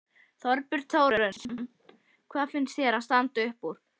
Þorbjörn Þórðarson: Hvað fannst þér standa upp úr?